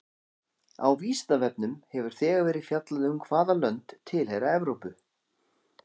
Á Vísindavefnum hefur þegar verið fjallað um hvaða lönd tilheyra Evrópu.